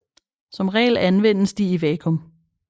Som regel anvendes de i vakuum